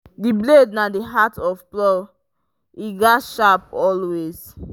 the blade na the heart of plow e gatz sharp always.